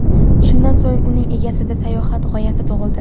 Shundan so‘ng uning egasida sayohat g‘oyasi tug‘ildi.